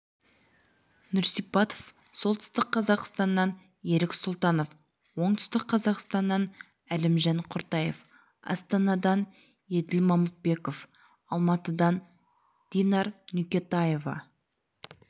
нұрсипатов солтүстік қазақстаннан ерік сұлтанов оңтүстік қазақстаннан әлімжан құртаев астанадан еділ мамытбеков алматыдан динар нүкетаева